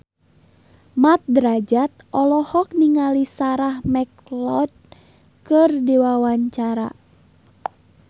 Mat Drajat olohok ningali Sarah McLeod keur diwawancara